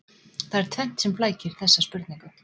Það er tvennt sem flækir þessa spurningu.